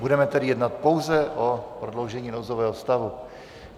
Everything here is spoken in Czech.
Budeme tedy jednat pouze o prodloužení nouzového stavu.